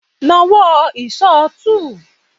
Na wọ́ sí ìṣó túù!